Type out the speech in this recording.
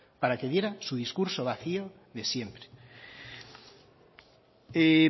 para que diera su discurso vacío de siempre